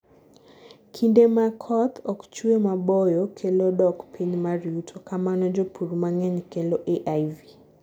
kinde makoth ok chue maboyo kelo dok piny mar yuto, kamano jopur mang'eny kelo AIV